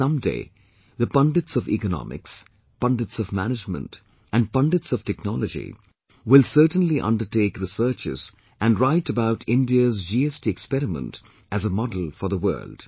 And some day, the Pundits of Economics, Pundits of Management and Pundits of Technology, will certainly undertake researches and write about India's GST experiment as a model for the world